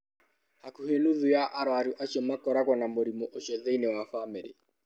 Hakuhĩ nuthu ya arũaru acio makoragwo na mũrimũ ũcio thĩinĩ wa famĩlĩ.